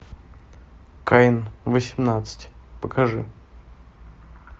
каин восемнадцать покажи